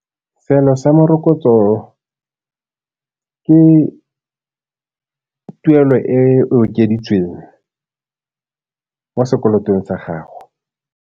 Seelo sa morokotso ke tuelo e okeditsweng mo sekolong sa gago.